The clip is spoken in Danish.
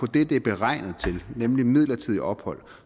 det det er beregnet til nemlig midlertidigt ophold